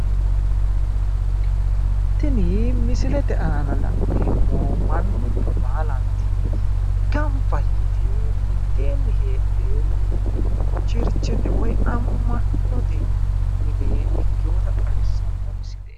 Tini misilete aana la'neemmo mannubba baalanti gamba yite mitteenni heedhe cherchete woyi amma'note mine ikkiwota xawissanno misileeti.